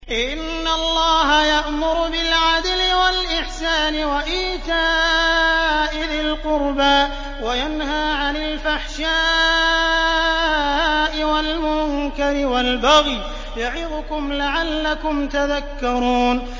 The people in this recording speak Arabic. ۞ إِنَّ اللَّهَ يَأْمُرُ بِالْعَدْلِ وَالْإِحْسَانِ وَإِيتَاءِ ذِي الْقُرْبَىٰ وَيَنْهَىٰ عَنِ الْفَحْشَاءِ وَالْمُنكَرِ وَالْبَغْيِ ۚ يَعِظُكُمْ لَعَلَّكُمْ تَذَكَّرُونَ